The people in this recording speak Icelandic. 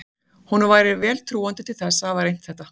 Honum væri því vel trúandi til að hafa reynt þetta.